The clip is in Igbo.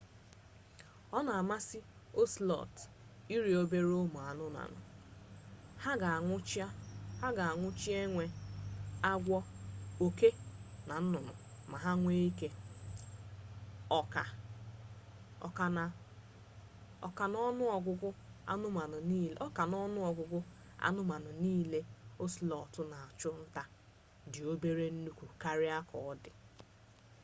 ona amasi ocelot iri obere umu-anumanu ha ga anwuchi enwe agwo oke na nnunu ma ha nwee ike oka-na-onuogugu anu anumanu nile ocelot na achu-nta di obere nnukwu karia ka odi